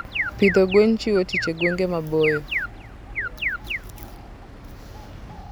Pidho gwen chiwo tich e gwenge maboyo.